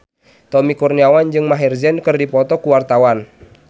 Tommy Kurniawan jeung Maher Zein keur dipoto ku wartawan